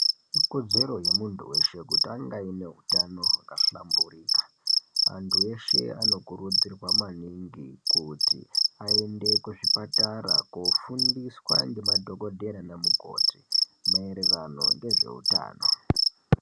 Ikodzero yemuntu weshe kuti ange aine hutano hwaka hlamburika. Antu eshe anokurudzirwa maningi kuti aende kuzvipatara kofundiswa ngema dhokodhera nanamukoti mayererano ngezveutano.